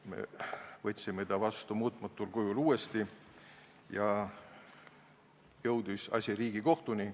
Me võtsime ta muutmata kujul uuesti vastu ja asi jõudis Riigikohtuni.